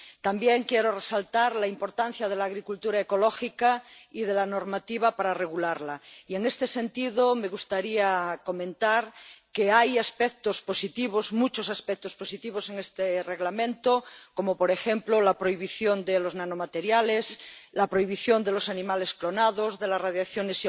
También quiero resaltar la importancia de la agricultura ecológica y de la normativa para regularla y, en este sentido, me gustaría comentar que hay aspectos positivos, muchos aspectos positivos en este Reglamento —como, por ejemplo, la prohibición de los nanomateriales, la prohibición de los animales clonados, de las radiaciones